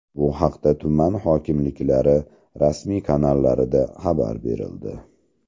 Bu haqda tuman hokimliklari rasmiy kanallarida xabar berildi .